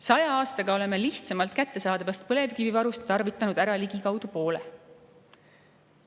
Saja aastaga oleme lihtsamalt kättesaadavast põlevkivivarust tarvitanud ära ligikaudu poole.